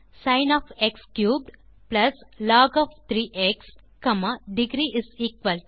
sin plus log degree2 2